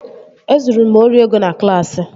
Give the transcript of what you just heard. E zuru m ori ego na klaasị